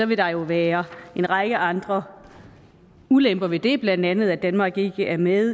vil der jo være en række andre ulemper ved det blandt andet at danmark ikke er med